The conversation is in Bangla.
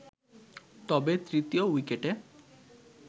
তবে তৃতীয় উইকেটে